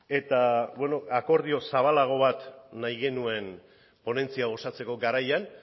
eta bueno akordio zabalago bat nahi genuen ponentzia osatzeko garaian